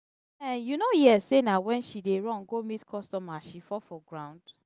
um you no hear say na wen she dey run go meet customer she fall for ground.